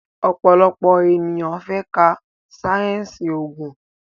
òpòlopò ènìyàn fè ká sáyẹnsì oògùn.